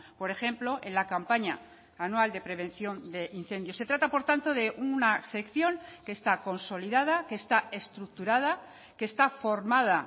por ejemplo en la campaña anual de prevención de incendios se trata por tanto de una sección que está consolidada que está estructurada que está formada